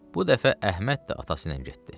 Bu dəfə Əhməd də atası ilə getdi.